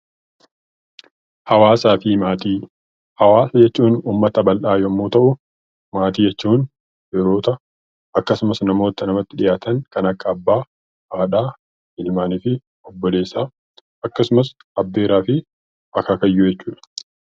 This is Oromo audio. Hawaasaa fi Maatii Hawaasa jechuun uummata bal'aa yoo ta'u; Maatii jechuun firoota, akkasumas namoora namatti dhiyaatan, kan akka Abbaa, Haadhaa, Ilmaanii fi Obboleessaa akkasumas Abbeeraa fi Akaakayyuu jechuu dha.